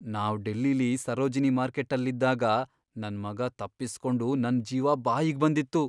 ನಾವ್ ಡೆಲ್ಲಿಲಿ ಸರೋಜಿನಿ ಮಾರ್ಕೆಟ್ಟಲ್ಲಿದ್ದಾಗ ನನ್ ಮಗ ತಪ್ಪಿಸ್ಕೊಂಡು ನಂಗ್ ಜೀವ ಬಾಯಿಗ್ ಬಂದಿತ್ತು.